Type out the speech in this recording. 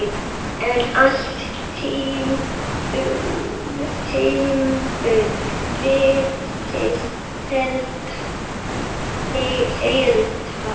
En allt timbur virtist heilt.